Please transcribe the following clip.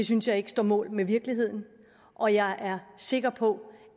synes jeg ikke står mål med virkeligheden og jeg er sikker på